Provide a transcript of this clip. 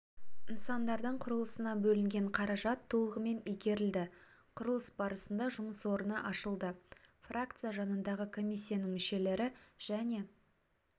нысандардың құрылысына бөлінген қаражат толығымен игерілді құрылыс барысында жұмыс орны ашылды фракция жанындағы комиссияның мүшелері және